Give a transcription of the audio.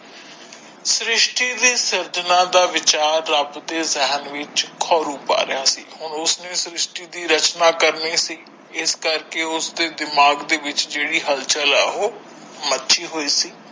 ਸ਼੍ਰਿਸ਼ਟੀ ਦੀ ਸਾਜਰਨਾ ਦਾ ਵਿਚਾਰ ਰੱਬ ਦੇ ਜ਼ਹਿਨ ਵਿੱਚ ਖੋਰੂ ਪਾ ਰਿਹਾ ਸੀ ਹੁਣ ਉਸਨੇ ਸਰਿਸ਼ਟੀ ਦੀ ਰਚਨਾ ਕਰਨੀ ਸੀ, ਇਸ ਕਰਕੇ ਉਸ ਦੇ ਦਿਮਾਗ ਦੇ ਵਿੱਚ ਜਿਹੜੀ ਹੱਲ ਚੱਲ ਹੈ ਉਹ ਮਚੀ ਹੋਇ ਸੀ।